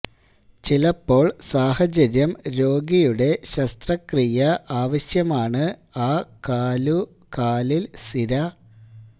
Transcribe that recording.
ചിലപ്പോൾ സാഹചര്യം രോഗിയുടെ ശസ്ത്രക്രിയ ആവശ്യമാണ് ആ കാലു കാലിൽ സിര